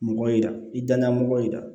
Mɔgɔ yira i danaya mɔgɔ yera